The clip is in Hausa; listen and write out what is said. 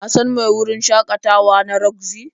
Ka san mai wurin shakatawa na Roxy?